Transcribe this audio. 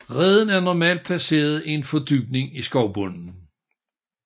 Reden er normalt placeret i en fordybning i skovbunden